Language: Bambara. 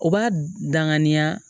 O b'a danganiya